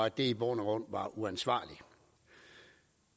at det i bund og grund var uansvarligt